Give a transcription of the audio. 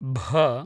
भ